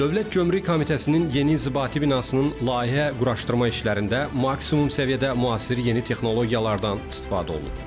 Dövlət Gömrük Komitəsinin yeni inzibati binasının layihə-quraşdırma işlərində maksimum səviyyədə müasir yeni texnologiyalardan istifadə olunub.